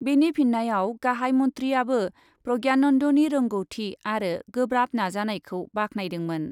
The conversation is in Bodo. बेनि फिन्नायाव गाहाइ मन्थ्रिआबो प्रज्ञानन्दनि रोंग'थि आरो गोब्राब नाजानायखौ बाख्नायदोंमोन।